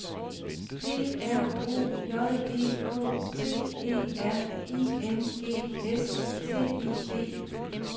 P R O J E K T E R I N G S T I D